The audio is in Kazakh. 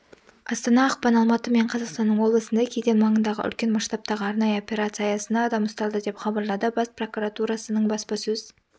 астана ақпан алматы мен қазақстанның облысында кеден маңындағы үлкен масштабтағы арнайы операция аясында адам ұсталды деп хабарлады бас прокуратурасының баспасөз